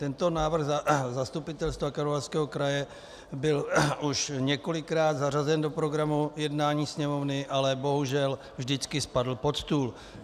Tento návrh zastupitelstva Karlovarského kraje byl už několikrát zařazen do programu jednání Sněmovny, ale bohužel vždycky spadl pod stůl.